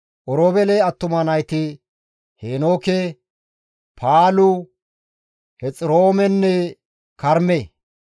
Oroobeele attuma nayti Heenooke, Paalu, Hexiroomenne Karme.